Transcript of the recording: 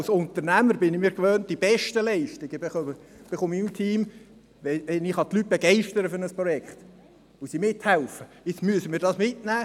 Als Unternehmer weiss ich: Die besten Leistungen erhalte ich von meinem Team, wenn ich die Leute für ein Projekt begeistern kann und sie mithelfen.